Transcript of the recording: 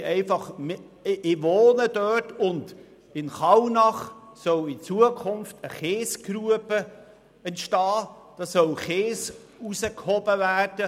Ich wohne dort, und in Kallnach soll in Zukunft eine Kiesgrube entstehen, da soll Kies ausgehoben werden.